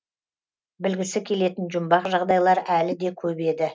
білгісі келетін жұмбақ жағдайлар әлі де көп еді